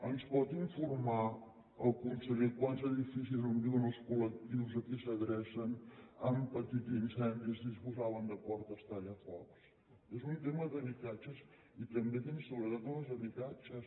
ens pot informar el conseller de quants edificis on viuen els col·lectius a qui s’adrecen que han patit incendis disposaven de portes tallafocs és un tema d’habitatges i també d’inseguretat en els habitatges